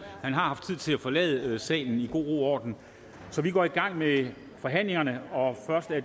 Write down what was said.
man har haft tid til at forlade salen i god ro og orden vi går i gang med forhandlingen og